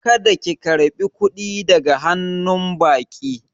Kada ki karba kuɗi daga hannu baƙi